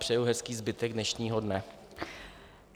Přeju hezký zbytek dnešního dne.